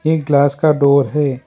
एक ग्लास का डोर है।